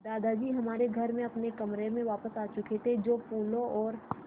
दादाजी हमारे घर में अपने कमरे में वापस आ चुके थे जो फूलों और